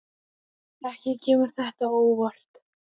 Ekki kemur þetta á óvart.